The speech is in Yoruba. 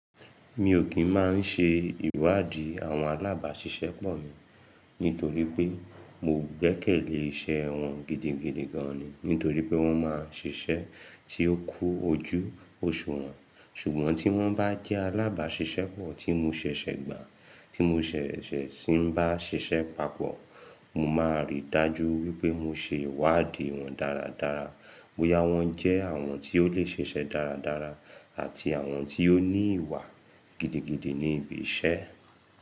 Mi ò kín máa ń ṣe ìwádìí àwọn alábáṣiṣẹ́ pọ̀ mi nítorí pé mo gbẹ́kẹ̀lé iṣẹ́ wọn gidigidi gan ni. Nítorí pé wọ́n máa ń ṣiṣẹ́ tí ó kú ojú oṣùwọn. Ṣùgbọ́n tí wọ́n bá jẹ́ alábàáṣiṣẹ́ pọ̀ tí mo ṣẹ̀ṣẹ̀ gbà, tí mo ṣẹ̀ṣẹ̀ sì ń bá ṣiṣẹ́ papọ̀, mo máa rí i dájú wípé mo ṣe ìwádìí wọ́n dáradára. Bóyá wọ́n jẹ́ àwọn tí ó lè ṣeṣẹ́ dáradára àti àwọn tí ó ní ìwà gidigidi ní ibi iṣẹ́.